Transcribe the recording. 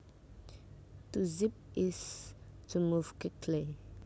To zip is to move quickly